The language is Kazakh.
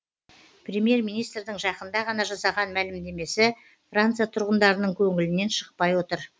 премьер министрдің жақында ғана жасаған мәлімдемесі франция тұрғындарының көңілінен шықпай отыр